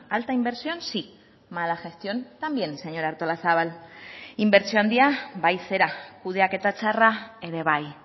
alta inversión sí mala gestión también señora artolazabal inbertsio handia bai zera kudeaketa txarra ere bai